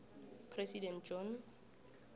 president john